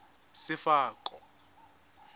sefako